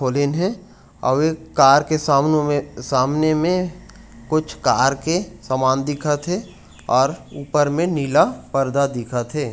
Pollen हे अउ एक कार के सामने में सामने में कुछ कार के समान दिखत हे और ऊपर में नीला पर्दा दिखत हे।